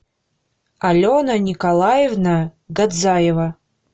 алена николаевна годзаева